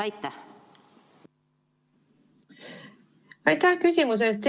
Aitäh küsimuse eest!